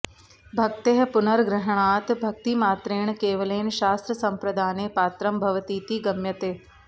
भक्तेः पुनर्ग्रहणात् भक्तिमात्रेण केवलेन शास्त्रसंप्रदाने पात्रं भवतीति गम्यते